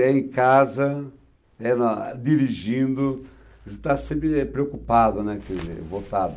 É em casa, é na... dirigindo, está sempre preocupado, né, e voltado.